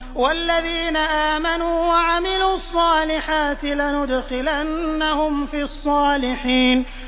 وَالَّذِينَ آمَنُوا وَعَمِلُوا الصَّالِحَاتِ لَنُدْخِلَنَّهُمْ فِي الصَّالِحِينَ